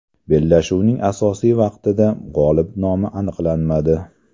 Bellashuvning asosiy vaqtida g‘olib nomi aniqlanmadi.